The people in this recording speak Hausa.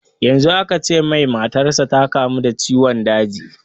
Yanzu aka ce mai matar sa ta kamu da ciwon daji